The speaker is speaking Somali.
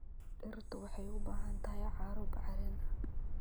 Dhirtu waxay u baahan tahay carro bacrin ah.